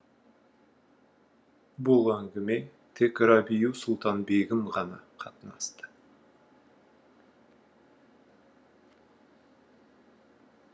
бұл әңгіме тек рабиу сұлтан бегім ғана қатынасты